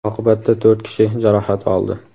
Oqibatda to‘rt kishi jarohat oldi.